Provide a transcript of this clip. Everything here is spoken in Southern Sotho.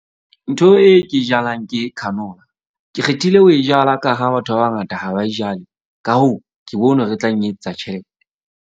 Ntho e ke jalang ke canola. Ke kgethile ho e jala ka hara batho ba bangata, ha ba e jale. Ka hoo ke bonwe hore e tla nketsetsa .